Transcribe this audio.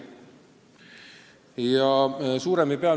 Küllap te olete sellega hästi kursis.